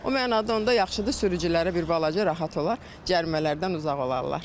O mənada onda yaxşıdır, sürücülərə bir balaca rahat olar, cərimələrdən uzaq olarlar.